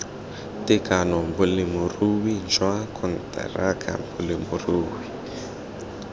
tekano bolemirui jwa konteraka bolemirui